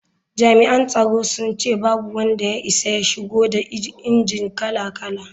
Jami’an tsaron sun ce babu wanda ya isa ya shigo da injinan kala-kala.